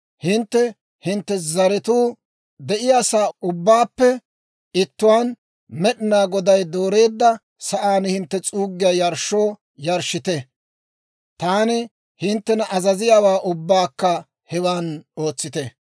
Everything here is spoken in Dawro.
Hintte hintte zaratuu de'iyaasaa ubbaappe ittuwaan, Med'inaa Goday dooreedda sa'aan hintte s'uuggiyaa yarshshoo yarshshite; taani hinttena azaziyaawaa ubbaakka hewan ootsite.